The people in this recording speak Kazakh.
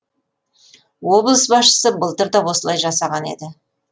облыс басшысы былтыр да осылай жасаған еді